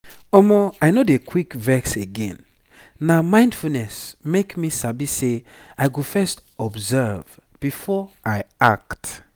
omo i no dey quick vex again na mindfulness make me sabi say i go first observe before i act.